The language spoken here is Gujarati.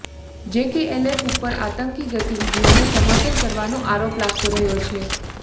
જેકેએલએફ ઉપર આતંકી ગતિવિધિઓને સમર્થન કરવાનો આરોપ લાગતો રહ્યો છે